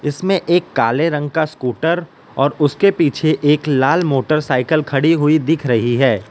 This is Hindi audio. इसमें एक काले रंग का स्कूटर और उसके पीछे एक लाल मोटरसाइकल खड़ी हुई दिख रही है।